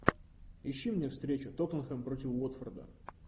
ищи мне встречу тоттенхэм против уотфорда